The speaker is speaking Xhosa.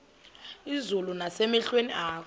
izulu nasemehlweni akho